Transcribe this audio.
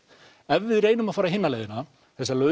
ef við reynum að fara hina leiðina þessa